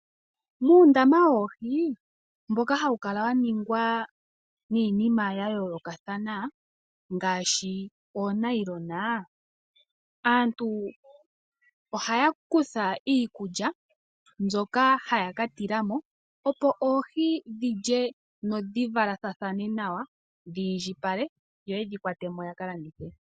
Muundama woohi mboka hawu kala wa ningwa niinima ya yoolokathana ngaashi oonailona, aantu ohaya kutha iikulya mbyoka haya ka tila mo, opo oohi dhi lye no dhi valathane nawa, dhi indjipale, yo yedhi kwate mo ya ka landithe.